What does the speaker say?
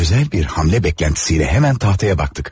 Özəl bir hərəkət gözləntisiylə dərhal taxtaya baxdıq.